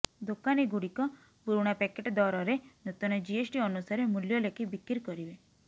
ଦୋକାନୀଗୁଡ଼ିକ ପୁରୁଣା ପ୍ୟାକେଟ୍ ଦରରେ ନୂତନ ଜିଏସ୍ଟି ଅନୁସାରେ ମୂଲ୍ୟ ଲେଖି ବିକି୍ର କରିବେ